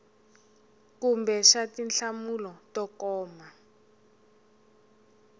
kumbe xa tinhlamulo to koma